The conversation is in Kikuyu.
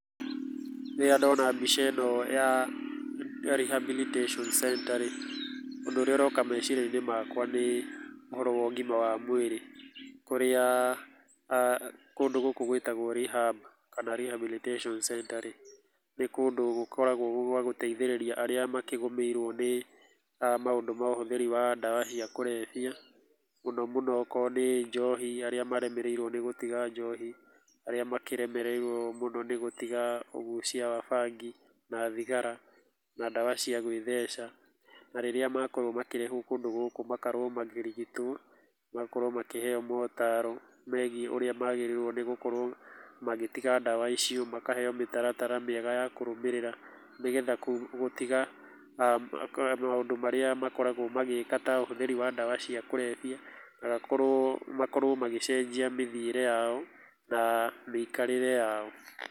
Rĩrĩa ndona mbica ĩno ya Rehabilitation Center rĩ, ũndũ ũrĩa ũroka meciria-inĩ makwa nĩ ũhoro wa ũgima wa mwĩrĩ, kũrĩa kũndũ gũkũ gwĩtagwo Rehab kana Rehabilitation Center rĩ, nĩ kũndũ gũkoragwo gwa gũteithĩrĩria arĩa makĩgũmĩirwo nĩ maũndũ ma ũhũthĩri wa ndawa cia kũrebia, mũno mũno okorũo nĩ njohi arĩa maremereirwo nĩ gũtiga njohi. Arĩa makĩremereirwo mũno nĩ gũtiga ũgucia wa bangi na thigara na ndawa cia gũitheca. Na rĩrĩa makorwo makĩrehwo kũndũ gũkũ magakorwo makĩrigitwo, magakorwo makĩheyo motaro megiĩ ũrĩa magĩrĩirwo nĩ gũkorwo magĩtiga ndawa icio , makaheyo mĩtaratara mĩega ya kũrũmĩrĩra, nĩgetha gũtiga maũndũ marĩa makoragwo magĩka ta ũhũthĩri wa ndawa cia kũrebia, na makorwo, makorwo magĩcenjia mĩthiĩre yao na mĩikarĩre yao.